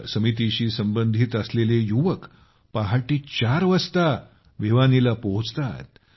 त्या समितीशी संबंधित असलेले युवक पहाटे चार वाजता भिवानीला पोहचतात